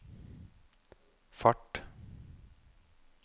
fart